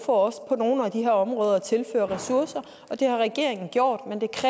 for også på nogle af de her områder at tilføre ressourcer og det har regeringen gjort